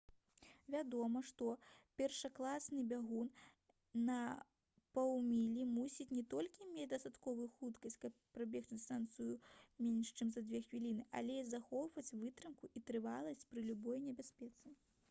вядома першакласны бягун на паўмілі мусіць не толькі мець дастатковую хуткасць каб прабегчы дыстанцыю менш чым за дзве хвіліны але і захоўваць вытрымку і трываласць пры любой небяспецы